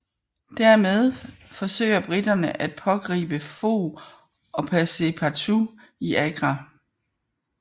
Dermed forsøger briterne at pågribe Fogg og Passepartout i Agra